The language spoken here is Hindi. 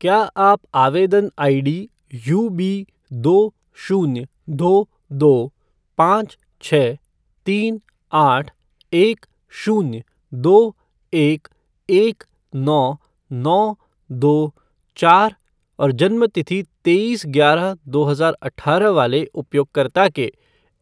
क्या आप आवेदन आईडी यूबी दो शून्य दो दो पाँच छः तीन आठ एक शून्य दो एक एक नौ नौ दो चार और जन्म तिथि तेईस ग्यारह दो हजार अठारह वाले उपयोगकर्ता के